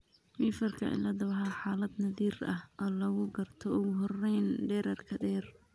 Weaverka ciladha waa xaalad naadir ah oo lagu garto ugu horrayn dhererka dheer.